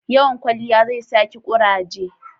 Yawan kwalliya zai sa ki kuraje